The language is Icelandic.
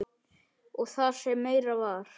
Og það sem meira var.